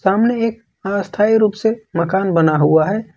सामने एक अस्थाई रूप से मकान बना हुआ है।